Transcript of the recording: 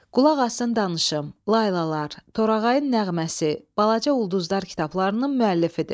Qulaq asın danışım, Laylalar, Torağayın nəğməsi, Balaca Ulduzlar kitablarının müəllifidir.